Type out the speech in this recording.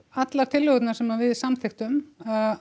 allar tillögurnar sem við samþykktum